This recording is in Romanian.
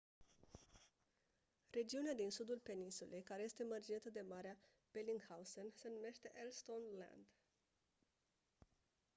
regiunea din sudul peninsulei care este mărginită de marea bellingshausen se numește ellsworth land